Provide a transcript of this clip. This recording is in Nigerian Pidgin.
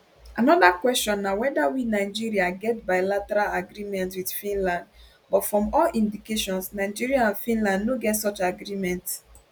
anoda kwesion na weda we nigeria get bilateral agreement wit finland but from all indications nigeria and finland no get such agreement